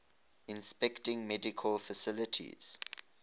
inspecting medical facilities